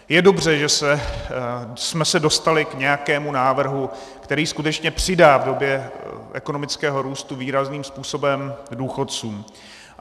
Je dobře, že jsme se dostali k nějakému návrhu, který skutečně přidá v době ekonomického růstu výrazným způsobem důchodcům.